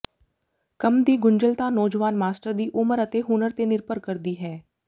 ਕੰਮ ਦੀ ਗੁੰਝਲਤਾ ਨੌਜਵਾਨ ਮਾਸਟਰ ਦੀ ਉਮਰ ਅਤੇ ਹੁਨਰ ਤੇ ਨਿਰਭਰ ਕਰਦੀ ਹੈ